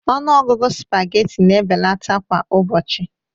Ọnụ ọgụgụ spaghetti na-ebelata kwa ụbọchị